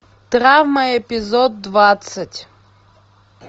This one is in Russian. травма эпизод двадцать